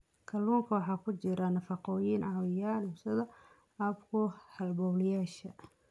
Kalluunka waxaa ku jira nafaqooyin caawiya dhimista caabuqa halbowlayaasha.